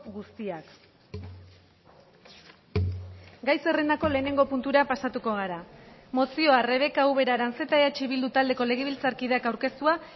guztiak gai zerrendako lehenengo puntura pasatuko gara mozioa rebeka ubera aranzeta eh bildu taldeko legebiltzarkideak aurkeztua